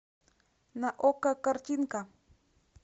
на окко картинка